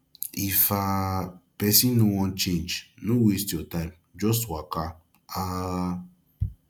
if um person no wan change no waste your time just waka um